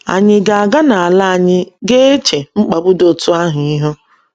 Ànyị ga - aga n’ala anyị ga - eche mkpagbu dị otú ahụ ihu?